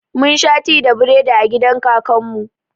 Mun sha ti da biredi a gidan kakan mu